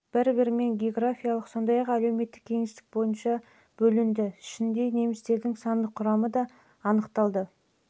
бір-бірімен географиялық сондай-ақ әлеуметтік кеңістік бойынша бөлінді ішінде немістердің сандық құрамы да анықталуда